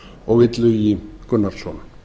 og illugi gunnarsson